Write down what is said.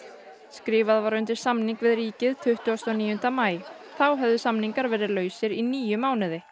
skrifað var undir samning við ríkið tuttugasta og níunda maí þá höfðu samningar verið lausir í níu mánuði